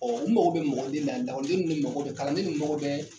u mago bɛ mɔgɔ de la lakɔliden ninnu de mago bɛ kalanden ninnu mago bɛ